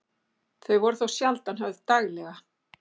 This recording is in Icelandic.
Þau voru þó sjaldan höfð daglega.